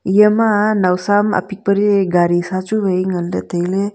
eya ma nawsam apitpari garisa chu vai nganley tailey.